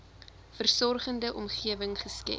versorgende omgewing geskep